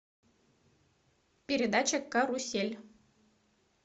передача карусель